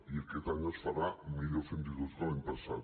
i aquest any es farà millor fins i tot que l’any passat